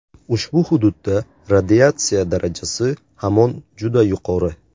Ushbu hududda radiatsiya darajasi hamon juda yuqori.